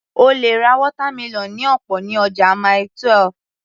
O lè ra watermelon ní ọ̀pọ̀ ní ọjà Mile 12